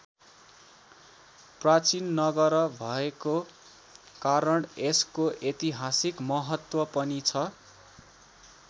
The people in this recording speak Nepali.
प्राचीन नगर भएको कारण यसको ऐतिहासिक महत्त्व पनि छ।